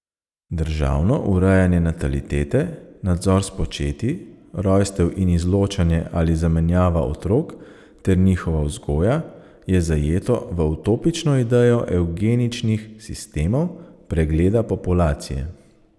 Državno urejanje natalitete, nadzor spočetij, rojstev in izločanje ali zamenjava otrok ter njihova vzgoja, je zajeto v utopično idejo evgeničnih sistemov pregleda populacije.